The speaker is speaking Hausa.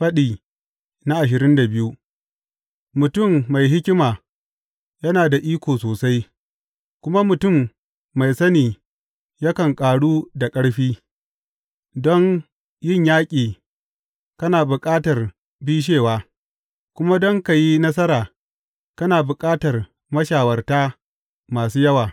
Faɗi ashirin da biyu Mutum mai hikima yana da iko sosai, kuma mutum mai sani yakan ƙaru da ƙarfi; don yin yaƙi kana bukatar bishewa, kuma don ka yi nasara kana bukatar mashawarta masu yawa.